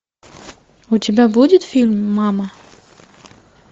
у тебя будет фильм мама